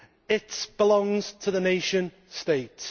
it belongs to the nation states.